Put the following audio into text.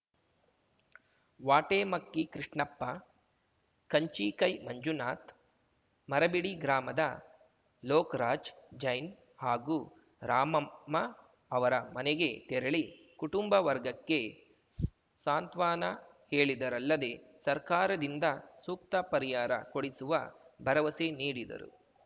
ವಾಟೆಮಕ್ಕಿ ಕೃಷ್ಣಪ್ಪ ಕಂಚಿಕೈ ಮಂಜುನಾಥ್‌ ಮರಬಿಡಿ ಗ್ರಾಮದ ಲೋಕ್ ರಾಜ್‌ ಜೈನ್‌ ಹಾಗೂ ರಾಮಮ್ಮ ಅವರ ಮನೆಗೆ ತೆರಳಿ ಕುಟುಂಬ ವರ್ಗಕ್ಕೆ ಸ್ ಸಾಂತ್ವನ ಹೇಳಿದರಲ್ಲದೆ ಸರ್ಕಾರದಿಂದ ಸೂಕ್ತ ಪರಿಹಾರ ಕೊಡಿಸುವ ಭರವಸೆ ನೀಡಿದರು